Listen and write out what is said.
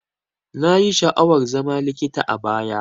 Nayi sha'awar zama likita a baya.